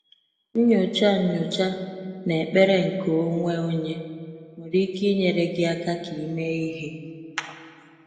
Nnyocha Nnyocha na ekpere nke onwe onye nwere ike i nyere gị aka ka i mee ihe.